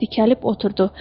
Dikəlib oturdu.